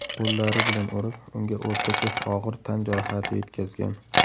qo‘llari bilan urib, unga o‘rtacha og‘ir tan jarohati yetkazgan.